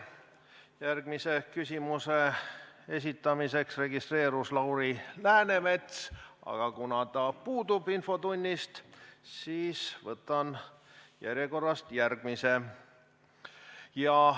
Järgmise küsimuse esitamiseks registreerus Lauri Läänemets, aga kuna ta puudub infotunnist, siis võtan järjekorrast järgmise küsimuse.